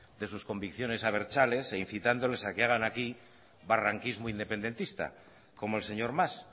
de sus convicciones abertzales e incitándoles a que hagan aquí barranquismo independentista como el señor mas